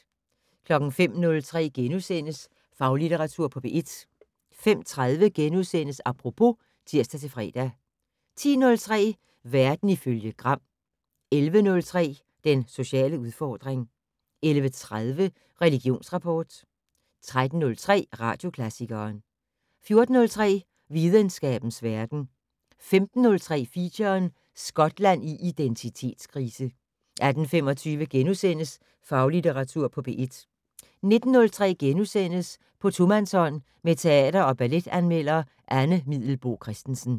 05:03: Faglitteratur på P1 * 05:30: Apropos *(tir-fre) 10:03: Verden ifølge Gram 11:03: Den sociale udfordring 11:30: Religionsrapport 13:03: Radioklassikeren 14:03: Videnskabens verden 15:03: Feature: Skotland i identitetskrise 18:25: Faglitteratur på P1 * 19:03: På tomandshånd med teater- og balletanmelder Anne Middelboe Christensen *